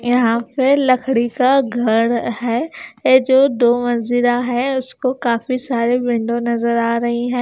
यहां पे लकड़ी का घर है ये जो दो मंजिरा है उसको काफी सारे विंडो नजर आ रही हैं।